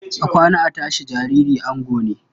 A kwana, a tashi, jariri ango ne.